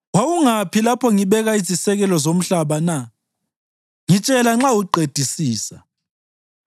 Wawungaphi lapho ngibeka izisekelo zomhlaba na? Ngitshela nxa uqedisisa.